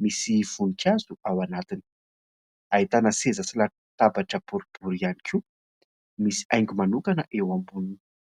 misy voninkazo ao anatiny . Ahitana seza sy latabatra boribory ihany koa ,misy haingo manokana eo amboniny.